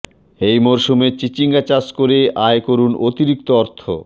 এই মরসুমে চিচিঙ্গা চাষ করে আয় করুন অতিরিক্ত অর্থ